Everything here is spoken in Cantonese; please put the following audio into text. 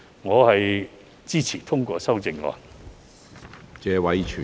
我支持通過修正案。